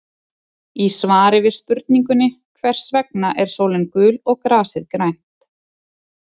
Í svari við spurningunni Hvers vegna er sólin gul og grasið grænt?